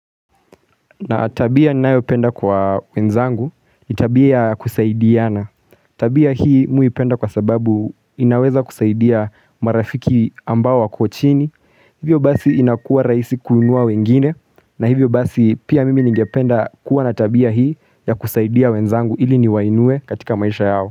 Na tabia ninayoipenda kwa wenzangu ni tabia ya kusaidiana. Tabia hii mi huipenda kwa sababu inaweza kusaidia marafiki ambao wako chini. Hivyo basi inakuwa rahisi kununua wengine na hivyo basi pia mimi ningependa kuwa na tabia hii ya kuwasaidia wenzangu ili niwainue katika maisha yao.